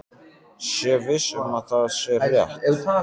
Sé viss um að það sé rétt.